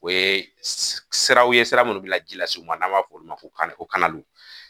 O ye siraw ye sira munnu be la ji las'u ma n'an b'a f'o ma ko kanaluw